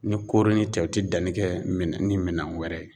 Ni koroni tɛ u tɛ danni kɛ minɛn ni minɛn wɛrɛ ye